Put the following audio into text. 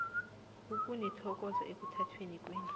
ukunithokoza ekuthatheni kwenu